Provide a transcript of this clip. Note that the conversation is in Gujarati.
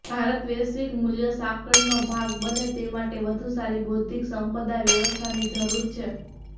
ભારત વૈશ્વિક મૂલ્ય સાંકળનો ભાગ બને તે માટે વધુ સારી બૌદ્ધિક સંપદા વ્યવસ્થાની જરૂર છે